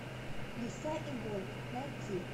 лиса и волк найти